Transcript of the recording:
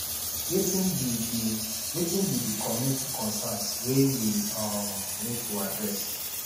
wetin be di wetin be di community concerns wey we um need to address